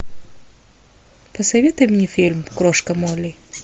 посоветуй мне фильм крошка молли